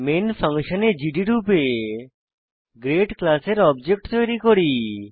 main ফাংশনে জিডি রূপে গ্রেড ক্লাসের অবজেক্ট তৈরী করি